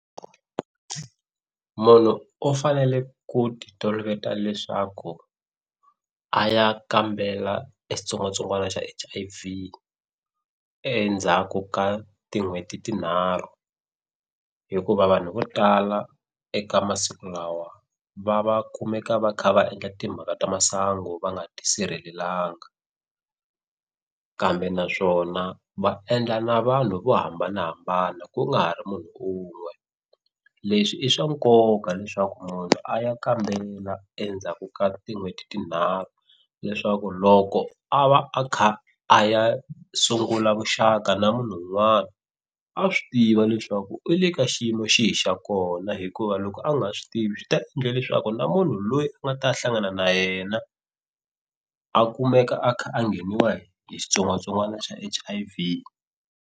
Munhu u fanele ku ti toloveta leswaku a ya kambela e xitsongwatsongwana xa H_I_V endzhaku ka tin'hweti tinharhu hikuva vanhu vo tala eka masiku lawa va va kumeka va kha va endla timhaka ta masangu va nga ti sirhelelanga kambe naswona va endla na vanhu vo hambanahambana ku nga ha ri munhu un'we leswi i swa nkoka leswaku munhu a ya kambela endzhaku ka tin'hweti tinharhu leswaku loko a va a kha a ya sungula vuxaka na munhu un'wana a swi tiva leswaku i le ka xiyimo xi hi xa kona hikuva loko a nga swi tivi swi ta endla leswaku na munhu loyi a nga ta hlangana na yena a kumeka a kha a ngheniwa hi hi xitsongwatsongwana xa H_I_V.